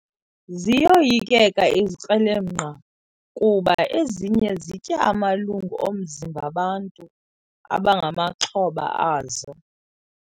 Ziyoyikeka izikrelemnqa kuba ezinye zitya amalungu omzimba bantu abangamaxhoba azo.